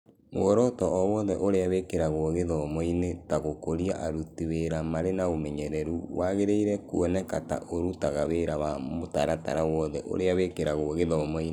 Muoroto o wothe ũrĩa wĩkagĩrũo gĩthomo-inĩ, ta gũkũria aruti wĩra marĩ na ũmenyeru, wagĩrĩirũo kuoneka ta ũrutaga wĩra wa mũtaratara wothe ũrĩa wĩkagĩrũo gĩthomo-inĩ.